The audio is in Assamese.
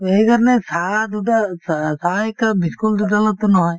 টো সেই কাৰণে চাহ দুটা চ চাহ একাপ বিস্কুট দুডালত টো নহয় ।